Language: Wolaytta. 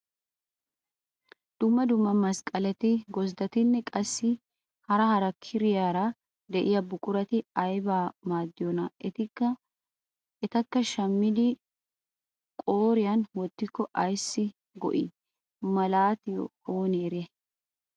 Dumma dumma masqqaleti gosddatinne qassi hara hara kiriyaara de'iyaa buqurati aybaa maadiyoonaa? etikka shammidi qootiyaan wottiko aysi go"iyaaba malatiyoonaa oonee eriyay?